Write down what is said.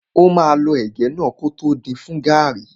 Ó máa lọ ẹ̀gẹ́ náà kótó din fún gàrrí.